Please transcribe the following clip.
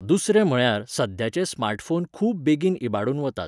दुसरें म्हळ्यार, सध्याचे स्मार्टफोन खूब बेगीन इबाडून वतात.